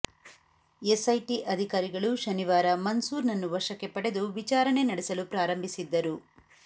SIT ಅಧಿಕಾರಿಗಳು ಶನಿವಾರ ಮನ್ಸೂರ್ ನನ್ನು ವಶಕ್ಕೆ ಪಡೆದು ವಿಚಾರಣೆ ನಡೆಸಲು ಪ್ರಾರಂಭಿಸಿದ್ದರು